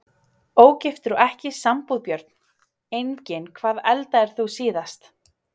Ógiftur og ekki í sambúð Börn: Engin Hvað eldaðir þú síðast?